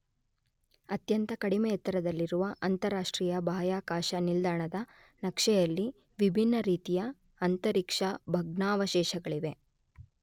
ಅತ್ಯಂತ ಕಡಿಮೆ ಎತ್ತರದಲ್ಲಿರುವ ಅಂತರರಾಷ್ಟ್ರೀಯ ಬಾಹ್ಯಾಕಾಶ ನಿಲ್ದಾಣದ ನ ಕಕ್ಷೆಯಲ್ಲಿ ವಿಭಿನ್ನ ರೀತಿಯ ಆಂತರಿಕ್ಷ ಭಗ್ನಾವಶೇಷಗಳಿವೆ.